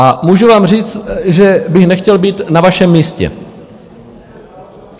A můžu vám říct, že bych nechtěl být na vašem místě.